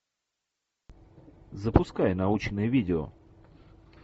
запускай научное видео